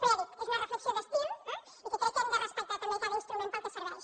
però ja dic és una reflexió d’estil eh i que crec que hem de respectar també cada instrument pel que serveix